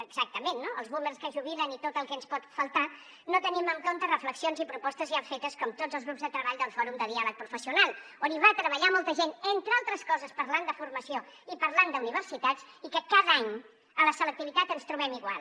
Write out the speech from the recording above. exactament no els boomers que es jubilen i tot el que ens pot faltar no tenim en compte reflexions i propostes ja fetes com tots els grups de treball del fòrum de diàleg professional on hi va treballar molta gent entre altres coses parlant de formació i parlant d’universitats i que cada any a la selectivitat ens trobem igual